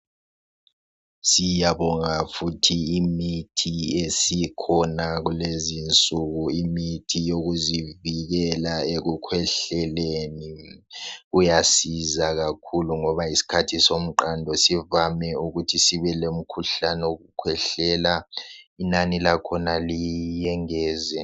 Siyabonga futhi imithi esikhona kulezinsuku imithi yokuzivikela ekukhwehleleni kuyasiza kakhulu ngoba isikhathi somqando sivame ukuthi sibe lomkhuhlane wokukhwehlela. Inani lakhona liyengezwe.